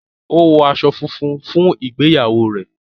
o wọ aṣọ fúnfún fún ìgbéyàwó rẹ